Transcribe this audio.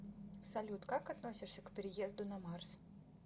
салют как относишься к переезду на марс